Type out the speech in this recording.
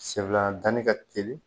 Sen fila danni ka teli